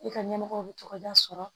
I ka ɲɛmɔgɔw bi tɔgɔda sɔrɔ